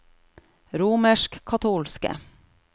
romerskkatolske